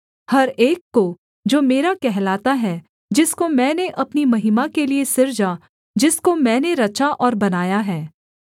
हर एक को जो मेरा कहलाता है जिसको मैंने अपनी महिमा के लिये सृजा जिसको मैंने रचा और बनाया है